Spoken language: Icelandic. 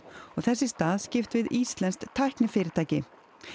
og þess í stað skipt við íslenskt tæknifyrirtæki